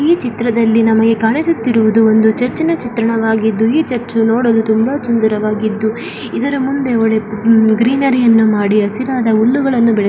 ಈ ಚಿತ್ರದಲ್ಲಿ ನಮಗೆ ಕಾಣಿಸುತ್ತಿರುವುದು ಒಂದು ಚುರ್ಚಿನ ಚಿತ್ರವಾಗಿದ್ದು ಈ ಚುರ್ಚಿನಲ್ಲಿ ತುಂಬಾ ಸುಂದರವಾಗಿದ್ದು. ಎದರ ಮುಂದೆ ಓಲೆ ಗ್ರೀನ್ರೇ ಅನ್ನು ಮಾಡಿ. ಹಸಿರಾದ ಹುಲ್ಲುಗಾಲು ಬೆಲೆಸಿ --